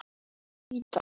Hver veit, sagði hún.